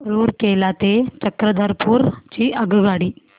रूरकेला ते चक्रधरपुर ची आगगाडी